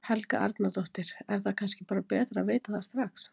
Helga Arnardóttir: Er það kannski bara betra að vita það strax?